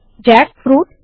jackfruit